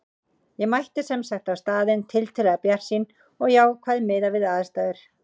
Ég mætti sem sagt á staðinn tiltölulega bjartsýn og jákvæð miðað við aðstæður.